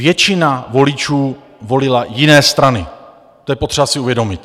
Většina voličů volila jiné strany, to je potřeba si uvědomit.